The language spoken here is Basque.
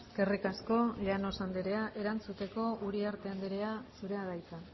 eskerrik asko llanos andrea erantzuteko uriarte andrea zurea da hitza